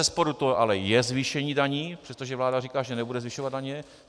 Bezesporu to ale je zvýšení daní, přestože vláda říká, že nebude zvyšovat daně.